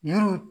Yiriw